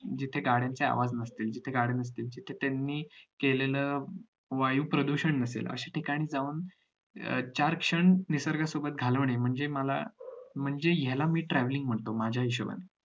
जिथे गाड्यचे आवाज नसतील तिथं गाड्या नसतील तर त्यांनी केलेलं वायू प्रदूषण नसेल अश्या ठिकाणी जाऊन चार क्षण निसर्गा सोबत घालवणे म्हणजे मला म्हणजे याला मी travelling म्हणतो माझ्या हिशोबाने